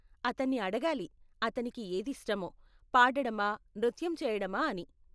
అతన్ని అడగాలి, అతనికి ఏది ఇష్టమో, పాడడమా, నృత్యం చేయడమా అని.